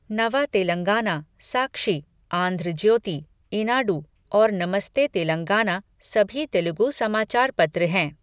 नवा तेलंगाना, साक्षी, आंध्र ज्योति, ईनाडु और नमस्ते तेलंगाना सभी तेलुगु समाचार पत्र हैं।